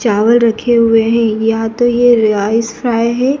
चावल रखे हुए हैं या तो ये राइस फ्राई है।